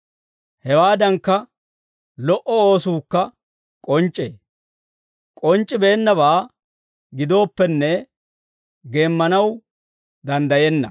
Hewaadankka, lo"o oosuukka k'onc'c'ee. K'onc'c'ibeennabaa gidooppenne, geemmanaw danddayenna.